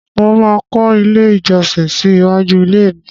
Mo máa kọ́ ilé ìjọsìn sí iwájú ilé mi.